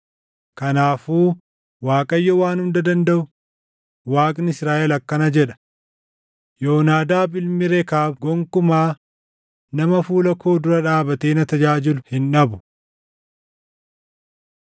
Kanaafuu Waaqayyo Waan Hunda Dandaʼu, Waaqni Israaʼel akkana jedha: ‘Yoonaadaab ilmi Rekaab gonkumaa nama fuula koo dura dhaabatee na tajaajilu hin dhabu.’ ”